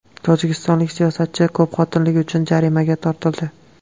Tojikistonlik siyosatchi ko‘pxotinlilik uchun jarimaga tortildi.